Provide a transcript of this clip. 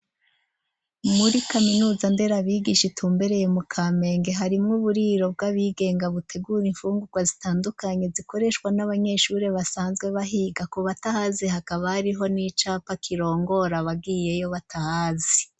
Muri kaminuza nderabigisha itumbereye mu Kamenge harimwe uburiro bw'abigenga butegura infungurwa zitandukanye zikoreshwa n'abanyeshuri basanzwe bahiga ku batahazi hakaba ariho n'icapa kirongora abagiyeyo batahazi.